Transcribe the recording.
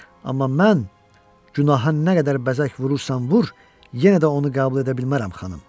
Amma mən günaha nə qədər bəzək vurursan vur, yenə də onu qəbul edə bilmərəm, xanım.